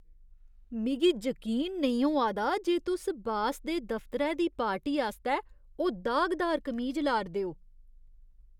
मिगी जकीन नेईं होआ दा जे तुस बास दे दफतरै दी पार्टी आस्तै ओह् दागदार कमीज ला 'रदे ओ।